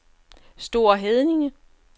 Store Heddinge